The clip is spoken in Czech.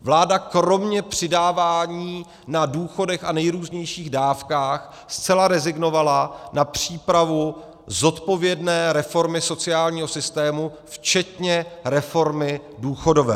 Vláda kromě přidávání na důchodech a nejrůznějších dávkách zcela rezignovala na přípravu zodpovědné reformy sociálního systému včetně reformy důchodové.